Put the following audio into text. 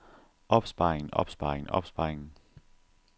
opsparingen opsparingen opsparingen